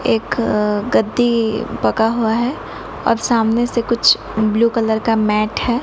एक गद्दी पका हुआ है और सामने से कुछ ब्लू कलर का मैट है।